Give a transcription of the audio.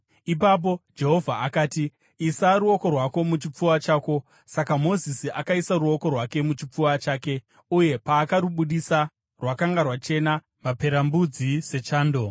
Ipapo Jehovha akati, “Isa ruoko rwako muchipfuva chako.” Saka Mozisi akaisa ruoko rwake muchipfuva chake, uye paakarubudisa, rwakanga rwachena maperembudzi, sechando.